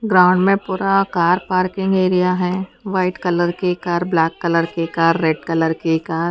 ground में पूरा car parking area है वाइट कलर की कार ब्लैक कलर की कार रेड कलर की कार --